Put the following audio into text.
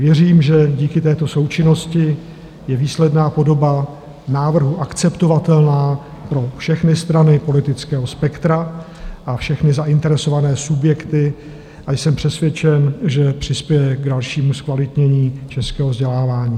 Věřím, že díky této součinnosti je výsledná podoba návrhu akceptovatelná pro všechny strany politického spektra a všechny zainteresované subjekty, a jsem přesvědčen, že přispěje k dalšímu zkvalitnění českého vzdělávání.